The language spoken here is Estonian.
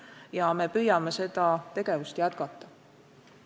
Ja me püüame seda tegevust jätkata.